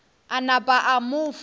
a napa a mo fa